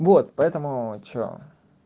вот поэтому что